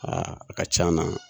a ka can na.